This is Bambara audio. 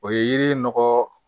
O ye yiri nɔgɔ